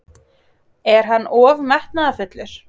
Er hann of metnaðarfullur?